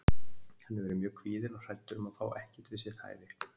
Hann hefur verið mjög kvíðinn og hræddur um að fá ekkert við sitt hæfi.